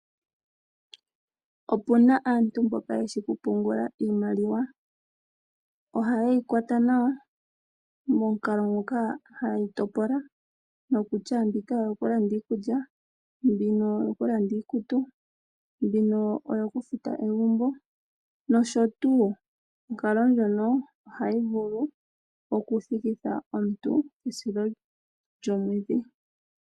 Opuna aantu mboka yeshi okupungula iimaliwa. Oha yeyi kwata nawa mokukalo ngoka hayeyi topola nokutya mbika oyo kulanda iikulya, mbina oyo kulanda iikutu, mbino oyokufuta egumbo nosho tuu . Nomukalo nguno ohaya vulu oku thikitha aantu komusilo gwomwedhi.